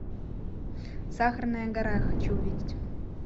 сахарная гора хочу увидеть